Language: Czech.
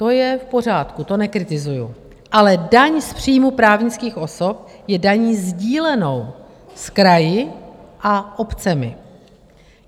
To je v pořádku, to nekritizuji, ale daň z příjmu právnických osob je daní sdílenou s kraji a obcemi.